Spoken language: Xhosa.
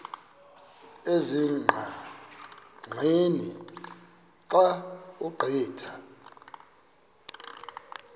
ezingqaqeni xa ugqitha